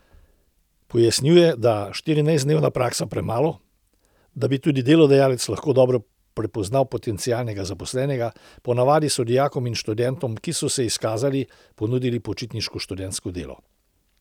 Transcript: Pojasnjuje, da je štirinajstdnevna praksa premalo, da bi tudi delodajalec lahko dobro prepoznal potencialnega zaposlenega, ponavadi so dijakom in študentom, ki so se izkazali, ponudili počitniško študentsko delo.